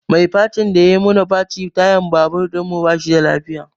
Mai facin da yai mana facin tayar babur ɗinmu ba shi da lafiya